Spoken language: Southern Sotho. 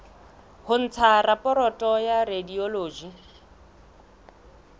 ho ntsha raporoto ya radiology